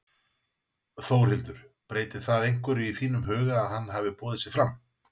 Þórhildur: Breytir það einhverju í þínum huga að hann hafi boðið sig fram?